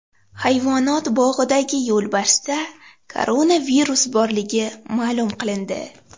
Hayvonot bog‘idagi yo‘lbarsda koronavirus borligi ma’lum qilindi .